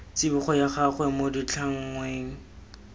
tsibogo ya gagwe mo ditlhangweng